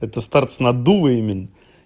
это старт с наддува именно